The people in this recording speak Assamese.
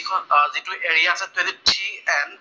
িটো এৰিয়া আছে সেইটো চি এন